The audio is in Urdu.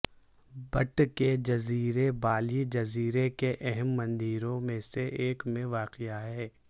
بٹ کے جزیرے بالی جزیرے کے اہم مندروں میں سے ایک میں واقع ہے